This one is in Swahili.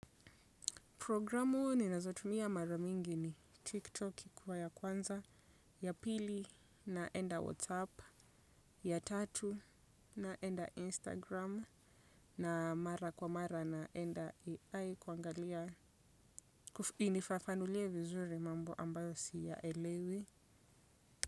Programu ninazotumia mara mingi ni tiktok ikiwa ya kwanza, ya pili naenda whatsapp, ya tatu naenda instagram, na mara kwa mara naenda AI kuangalia, inifafanulie vizuri mambo ambayo siyaelewi.